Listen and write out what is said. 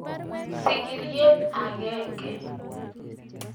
Sikiriet agenge